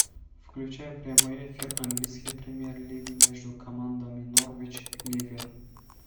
включай прямой эфир английской премьер лиги между командами норвич ливер